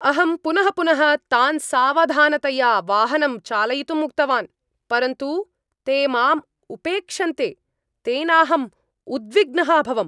अहं पुनः पुनः तान् सावधानतया वाहनं चालयितुम् उक्तवान्, परन्तु ते माम् उपेक्षन्ते, तेनाहम् उद्विग्नः अभवम्।